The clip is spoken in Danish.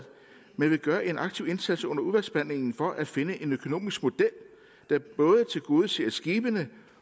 vil gøre en aktiv indsats under udvalgsbehandlingen for at finde en økonomisk model der både tilgodeser skibene